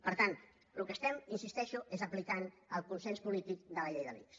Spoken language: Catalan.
per tant el que fem hi insisteixo és aplicar el consens polític de la llei de l’ics